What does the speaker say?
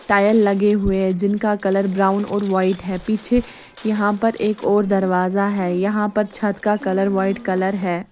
Tile लगे हुए हैं जिनका कलर ब्राउन और व्हाइट है पीछे यहां पर एक और दरवाजा है यहां पर छत का कलर वाइट कलर हैं।